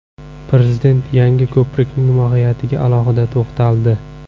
Prezident yangi ko‘prikning mohiyatiga alohida to‘xtaldi.